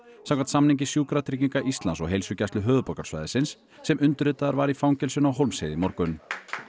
samkvæmt samningi Sjúkratrygginga Íslands og Heilsugæslu höfuðborgarsvæðisins sem undirritaður var í fangelsinu á Hólmsheiði í morgun